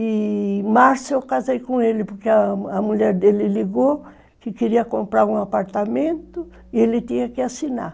E, em março, eu casei com ele, porque a mulher dele ligou que queria comprar um apartamento e ele tinha que assinar.